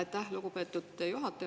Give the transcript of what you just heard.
Aitäh, lugupeetud juhataja!